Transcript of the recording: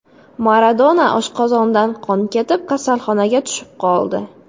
Maradona oshqozonidan qon ketib, kasalxonaga tushib qoldi.